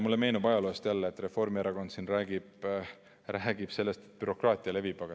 Mulle meenub ajaloost, et Reformierakond siin räägib sellest, et bürokraatia levib.